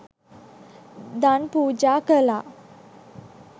දන් පූජා කළා.